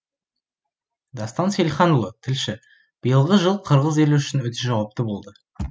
дастан сейілханұлы тілші биылғы жыл қырғыз елі үшін өте жауапты болды